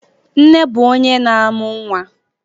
Nne bụ onye na-amu nwa